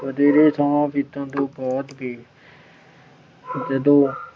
ਵਧੇਰੇ ਸਮਾਂ ਬੀਤਣ ਤੋਂ ਬਾਅਦ ਵੀ ਜਦੋਂ